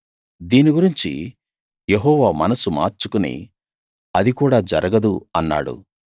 దీని గురించి యెహోవా మనస్సు మార్చుకుని అది కూడా జరగదు అన్నాడు